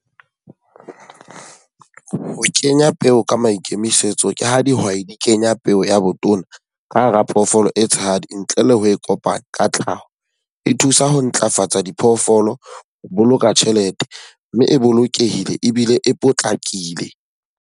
Ho kenya peo ka maikemisetso ke ha dihwai di kenya peo ya botona ka hara phoofolo e tshehadi ntle le ha e kopana ka tlhaho. E thusa ho ntlafatsa diphoofolo, ho boloka tjhelete, mme e bolokehile ebile e potlakile.